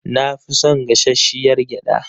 Na fi son gashashshiyar gyada.